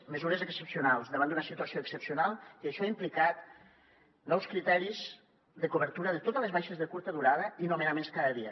mesures excepcionals davant d’una situació excepcional i això ha implicat nous criteris de cobertura de totes les baixes de curta durada i nomenaments cada dia